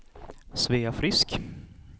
Svea Frisk